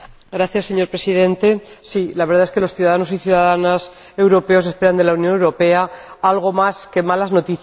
Señor Presidente, sí, la verdad es que los ciudadanos y ciudadanas europeos esperan de la Unión Europea algo más que malas noticias.